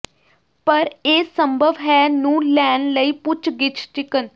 ਪਰ ਇਹ ਸੰਭਵ ਹੈ ਨੂੰ ਲੈਣ ਲਈ ਪੁੱਛਗਿੱਛ ਚਿਕਨ